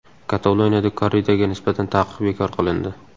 Kataloniyada korridaga nisbatan taqiq bekor qilindi.